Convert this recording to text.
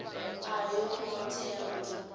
a yo ngo tea u